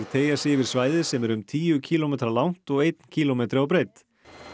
teygja sig yfir svæði sem er um tíu kílómetra langt og einn kílómetri á breidd